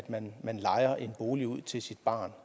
man lejer en bolig ud til sit barn